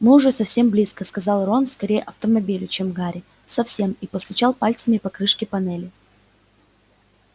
мы уже совсем близко сказал рон скорее автомобилю чем гарри совсем и постучал пальцами по крышке панели